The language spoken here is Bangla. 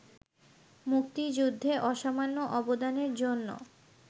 মুক্তিযুদ্ধে অসামান্য অবদানের জন্য